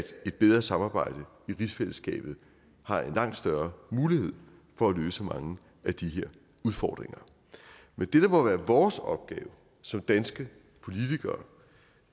et bedre samarbejde i rigsfællesskabet har en langt større mulighed for at løse mange af de her udfordringer men det der må være vores opgave som danske politikere